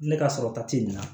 Ne ka sɔrɔ ta ti nin na